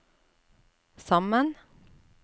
sammen